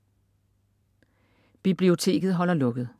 Biblioteket holder lukket